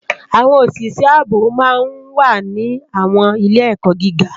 Awòn ósisë àbó má n wá ni àwòn ilé èkò gigá